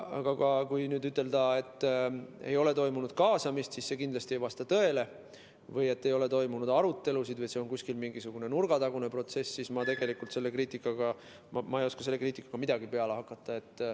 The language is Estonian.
Aga kui ütelda, et ei ole toimunud kaasamist, siis see kindlasti ei vasta tõele, või kui öeldakse, et ei ole toimunud arutelusid või et see on mingisugune nurgatagune protsess, siis ma ei oska selle kriitikaga midagi peale hakata.